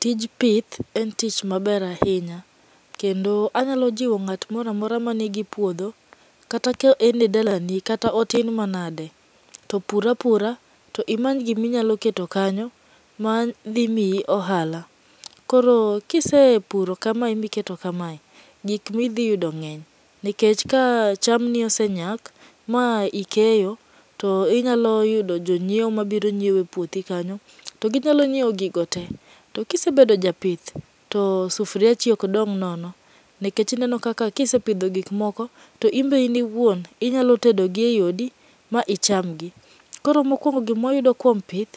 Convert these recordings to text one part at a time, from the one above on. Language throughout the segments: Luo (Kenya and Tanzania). Tij pith en tich maber ahinya. Kendo anyalo jiwo ng'at moro amora man gi puodho kata ka en e dalani, kata otin manade, to pur apura to imany gima inyalo keto kanyo madhi miyi ohala. Koro kise puro kamae miketo kamae, gik ma idhi yudo ng'eny nikech ka cham ni osenyak ma ikeyo to inyalo yudo jonyiewo mabiro nyiewo epuothi kanyo to ginyalo nyiewo gigo te kisebdo japith to sufuriachi ok dong' nono. To ineno ka isepidho gik moko to in iwuon inyalo tedo gi eodi ma ichamgi. Koro mokuongo gima wayudo kuom pith,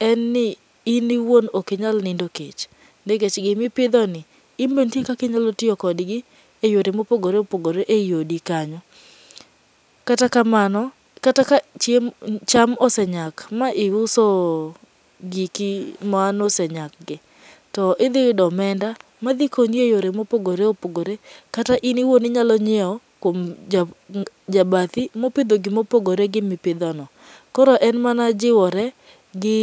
en ni in iwuon ok inyal nindo kech gima ipidhoni, in be nitie kaka inyalo tiyo kodgi eyore mopogore opogore ei odi kanyo. Kata kamano, kata ka chiem cham osenyak ma iuso giki manosenyakgi, to idhi yudo omenda madhi konyi eyore mopogore opogore kata in wuon inyalo nyiewo kuom jabathi mopidho gima opogore gi mipidho no. Koro en mana jiwore gi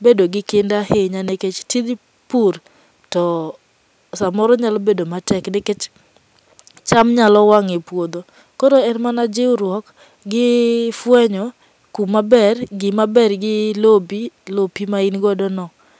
bed gi kinda ahinya nikech tij pur to samoro nyalo bedo matek nikech cham nyalo wang' e puodho koro en mana jiwruok gi fuenyo kumaber , gimaber gi lopi, lopi ma in godo ni.